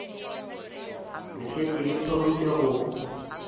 le šetše le thomile go